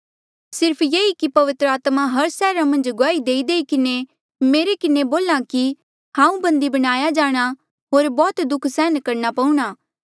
सिर्फ ये कि पवित्र आत्मा हर सैहरा मन्झ गुआही देईदेई किन्हें मेरे किन्हें बोल्हा कि हांऊँ बन्धी बनाया जाणा होर बौह्त दुःख सहन करणा पऊणा